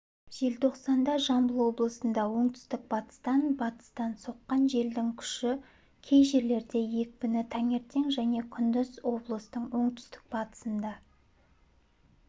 желтоқсанда жамбыл облысында оңтүстік-батыстан батыстан соққан желдің күші кей жерлерде екпіні таңертең және күндіз облыстың оңтүстік-батысында